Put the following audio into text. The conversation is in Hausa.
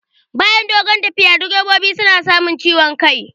Bayan dogon tafiya direbobi suna samun ciwon kai